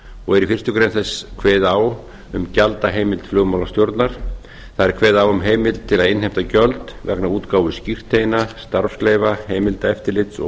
og er í fyrstu grein þess kveðið á um gjaldaheimild flugmálastjórnar það er kveðið á um heimild til að innheimta gjöld vegna útgáfu skírteina starfsleyfa heimildaeftirlits og